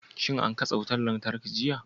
Shin an katse wutar lantarki jiya?